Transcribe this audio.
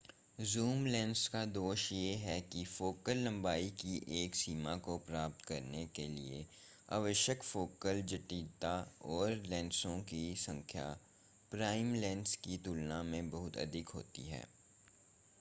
zoom lens का दोष यह है कि फोकल लंबाई की एक सीमा को प्राप्त करने के लिए आवश्यक फोकल जटिलता और लेंसों की संख्या प्राइम लेंस की तुलना में बहुत अधिक होती है